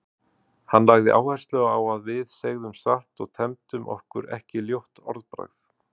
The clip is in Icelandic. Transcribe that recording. Hann lagði áherslu á að við segðum satt og temdum okkur ekki ljótt orðbragð.